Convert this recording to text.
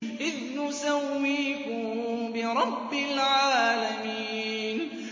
إِذْ نُسَوِّيكُم بِرَبِّ الْعَالَمِينَ